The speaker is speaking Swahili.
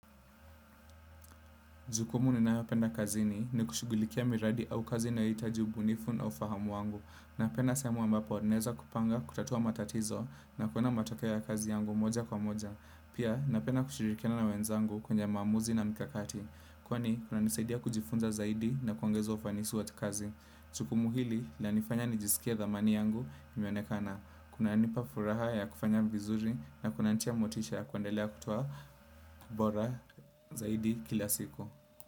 Jukumu ninayopenda kazini ni kushugulikia miradi au kazi ijayohitaji ubunifu na ufahamu wangu. Napenda sehemu ambapo naeza kupanga, kutatua matatizo na kuona matokeo ya kazi yangu moja kwa moja. Pia napenda kushirikiana na wenzangu kwenye mamuzi na mikakati. Kwani kunanisaidia kujifunza zaidi na kuongezo ufanisi watu kazi. Jukumu hili lanifanya nijisikie dhamani yangu imeonekana. Kunanipa furaha ya kufanya vizuri na kunanitia motisha ya kuendelea kutoa bora zaidi kila siku.